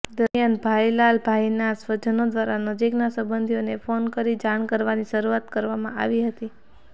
દરમિયાન ભાઇલાલભાઇના સ્વજનો દ્વારા નજીકના સંબંધીઓને ફોન કરી જાણ કરવાની શરૃઆત કરવામાં આવી હતી